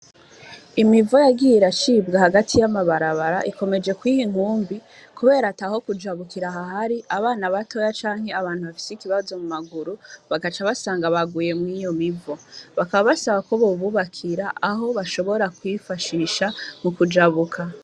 Imivo yagiye rashibwe hagati y'amabarabara ikomeje kwiha inkumbi, kubera ata ho kujabukira ahahari abana batoya canke abantu bafise ikibazo mu maguru bagaca basanga baguye mw'iyo mivo bakaba basaba ko babubakira aho bashobora kwifashisha mu kujabuka.